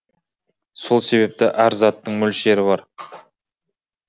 сол себепті әр заттыңмөлшері бар